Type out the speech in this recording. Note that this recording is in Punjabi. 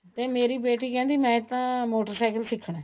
ਤੇ ਮੇਰੀ ਬੇਟੀ ਕਹਿੰਦੀ ਮੈਂ ਤਾਂ ਮੋਟਰ ਸਾਇਕਲ ਸਿੱਖਣਾ